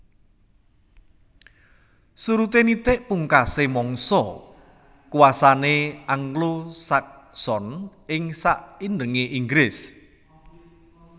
Surudé nitik pungkasé mangsa kuwasané Anglo Sakson ing saindengé Inggris